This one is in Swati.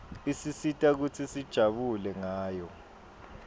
isisita kutsi sijabule ngayo